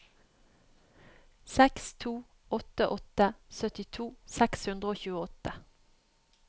seks to åtte åtte syttito seks hundre og tjueåtte